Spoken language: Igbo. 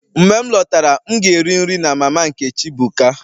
Mgbe m lọtara, m ga-eri nri na mama Nkechi buka